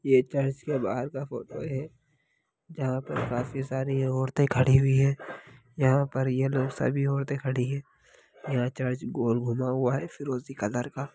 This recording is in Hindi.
यह चर्च के बाहर का फोटो है जहाँ पर काफी सारी औरते खड़ी हुई है यहाँ पर ये लोग सभी औरते खड़ी है यह चर्च गोल घुमा हुआ है फिरोजी कलर का।